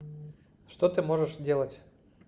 что ты можешь делать